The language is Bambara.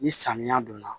Ni samiya don na